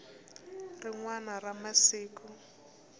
hi rin wana ra masiku